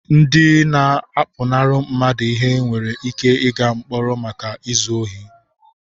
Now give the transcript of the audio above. Ndị na-apụnara mmadụ ihe nwere ike ịga mkpọrọ maka izu ohi.